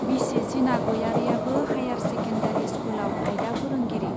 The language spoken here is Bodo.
बिसि जिना गयारीयाबो हाइयार सेकेन्डारी स्कुलाव आयदा फोरोंगिरि।